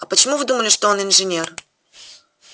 а почему вы думали что он инженер